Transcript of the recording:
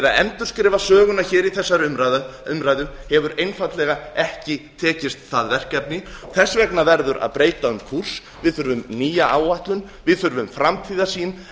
endurskrifa söguna hér í þegar umræðu hefur einfaldlega ekki tekist það verkefni þess vegna verður að breyta um kúrs við þurfum nýja áætlun við þurfum framtíðarsýn